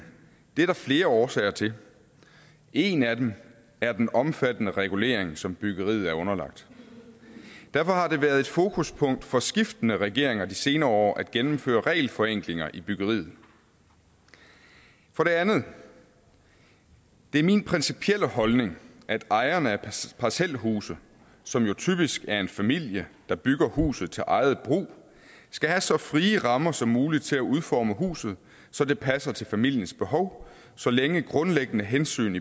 det er der flere årsager til en af dem er den omfattende regulering som byggeriet er underlagt derfor har det været et fokuspunkt for skiftende regeringer de senere år at gennemføre regelforenklinger i byggeriet for det andet det er min principielle holdning at ejerne af parcelhuse som jo typisk er familier der bygger huset til eget brug skal have så frie rammer som muligt til at udforme huset så det passer til familiens behov så længe grundlæggende hensyn